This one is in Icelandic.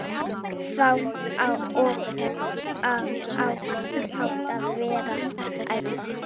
Og á þann hátt vernda þeir einmanaleika sinn.